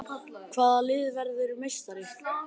Hvaða lið verður meistari?